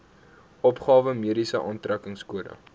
opgawe mediese aftrekkingskode